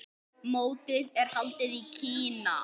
Mótið er haldið í Kína.